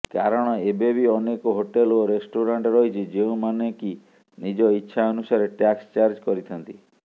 କାରଣ ଏବେବି ଅନେକ ହୋଟେଲ ଏବଂ ରେଷ୍ଟୁରାଂଟ ରହିଛି ଯେଉଁମାନେକି ନିଜ ଇଚ୍ଛା ଅନୁସାରେ ଟ୍ୟାକ୍ସ ଚାର୍ଜ କରିଥାନ୍ତି